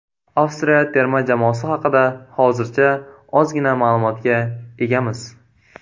Avstriya terma jamoasi haqida hozircha ozgina ma’lumotga egamiz.